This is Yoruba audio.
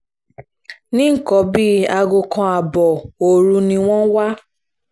ní nǹkan bíi aago kan ààbọ̀ òru ni wọ́n wà